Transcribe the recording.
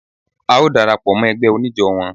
A ó dara pọ̀ mọ́ ẹgbẹ́ oníjó wọn.